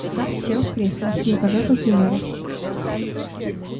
сатт сел в кресло не пожав руки мэру